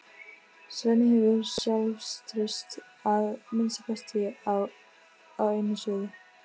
Svenni hefur sjálfstraust að minnsta kosti á einu sviði.